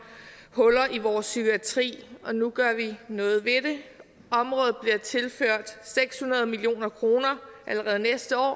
huller i vores psykiatri og nu gør vi noget ved det området bliver tilført seks hundrede million kroner allerede næste år og